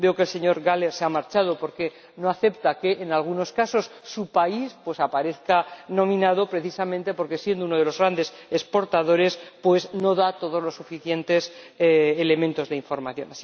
Veo que el señor Gahler se ha marchado porque no acepta que, en algunos casos, su país aparezca nombrado precisamente porque, siendo uno de los grandes exportadores, no da los suficientes elementos de información.